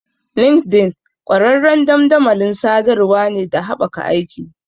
LinkedIn ƙwararren dandamalin sadarwar ne da haɓaka aiki.